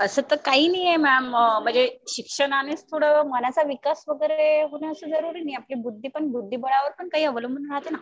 असं तर काही नाही मॅम. म्हणजे शिक्षणानेच थोडं मनाचा विकास वगैरे होणं असं जरुरी नाही. आपली बुद्धी बुद्धिबळावर पण काही अवलंबुन राहतं ना.